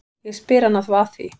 Ég spyr hana þá að því.